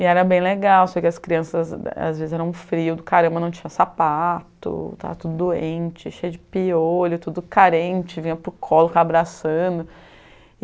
E era bem legal, só as crianças às vezes eram frio do caramba, não tinha sapato, tava tudo doente, cheio de piolho, tudo carente, vinha para o colo abraçando. E